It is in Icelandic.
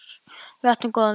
Við áttum góðan vin.